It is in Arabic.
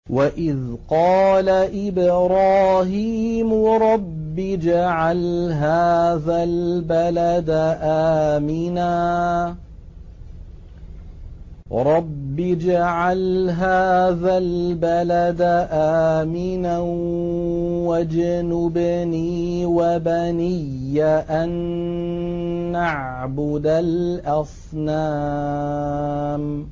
وَإِذْ قَالَ إِبْرَاهِيمُ رَبِّ اجْعَلْ هَٰذَا الْبَلَدَ آمِنًا وَاجْنُبْنِي وَبَنِيَّ أَن نَّعْبُدَ الْأَصْنَامَ